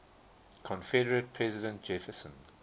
confederate president jefferson